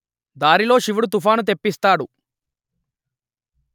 దారిలో శివుడు తుఫాను తెప్పిస్తాడు